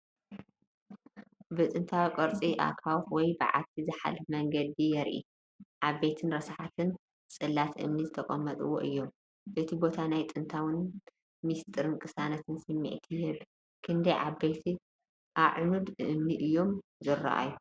ብጥንታዊ ቅርጺ ኣኻውሕ ወይ በዓቲ ዝሓልፍ መንገዲ የርኢ። ዓበይቲን ረሳሓትን ጽላት እምኒ ተጠቒሞም እዮም። እቲ ቦታ ናይ ጥንታዊነትን ምስጢርን ቅሳነትን ስምዒት ይህብ። ክንደይ ዓበይቲ ኣዕኑድ እምኒ እዮም ዝረኣዩ?